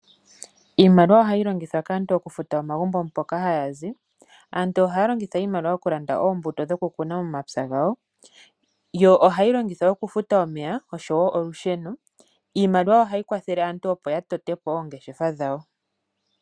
Iimaliwa ohayi longithwa kaantu oku futa omagumbo mpoka haya zi, aantu ohaya longitha iimaliwa okulanda oombuto dhoku kuna momapya gawo yo ohayi longithwa oku futa omeya oshowo olusheno, iimaliwa ohayi kwathele aantu opo ya tote po oongeshefa dhawo.